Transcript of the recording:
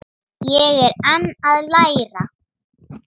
Ég er enn að læra.